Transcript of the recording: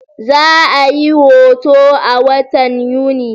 Za'a yi hutu a watan Yuni.